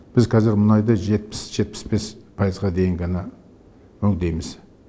біз қазір мұнайды жетпіс жетпіс бес пайызға дейін ғана өңдейміз